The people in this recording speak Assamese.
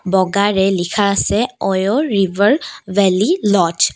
বগাৰে লিখা আছে ও_ইও_ও ৰিভাৰ ভেলী ল'জ ।